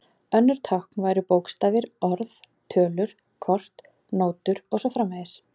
Önnur tákn væru bókstafir, orð, tölur, kort, nótur og svo framvegis.